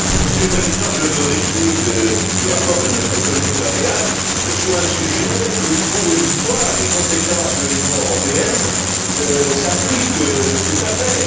Monsieur le Président, je me réjouis du rapport de notre collègue Vălean sur un sujet où, pour une fois, les compétences de l'Union européenne s'appliquent tout à fait.